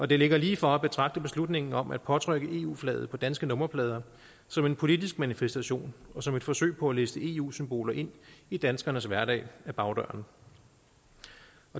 det ligger lige for at betragte beslutningen om at påtrykke eu flaget på danske nummerplader som en politisk manifestation og som et forsøg på at liste eu symboler ind i danskernes hverdag ad bagdøren